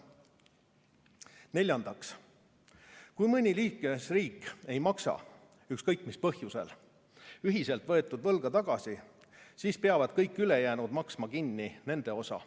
Neljandaks, kui mõni liikmesriik ei maksa – ükskõik mis põhjusel – ühiselt võetud võlga tagasi, siis peavad kõik ülejäänud maksma kinni nende osa.